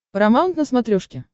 парамаунт на смотрешке